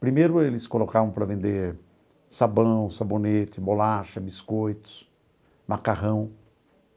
Primeiro eles colocavam para vender sabão, sabonete, bolacha, biscoitos, macarrão.